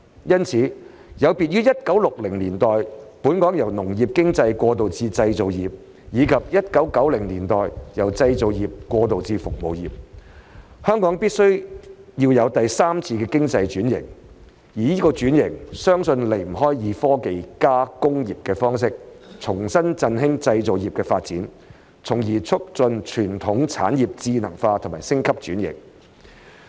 因此，有別於1960年代本港由農業經濟過渡至製造業，以及1990年代由製造業過渡至服務業，香港必須有第三次經濟轉型，而有關轉型相信離不開以"科技+工業"的方式重新振興製造業的發展，從而促進傳統產業智能化和升級轉型。